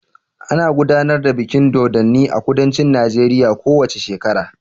Ana gudanar da bikin dodonni a kudancin Najeriya ko wace shekara.